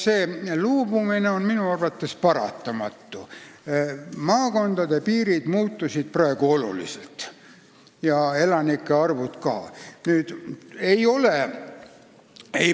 See loobumine on minu arvates paratamatu, maakondade piirid ja ka elanike arvud on praegu oluliselt muutunud.